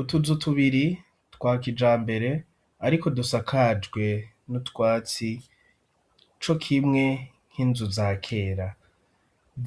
Utuzu tubiri twa kijambere ariko dusakajwe n'utwatsi co kimwe nk'inzu za kera,